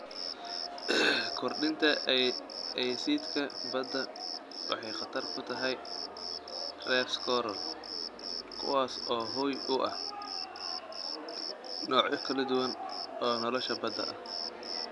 Kordhinta aysiidhka badda waxay khatar ku tahay reefs coral, kuwaas oo hoy u ah noocyo kala duwan oo nolosha badda ah.